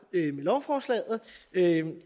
med lovforslaget